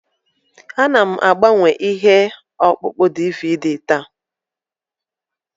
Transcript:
Ana m agbanwe ihe ọkpụkpọ DVD taa.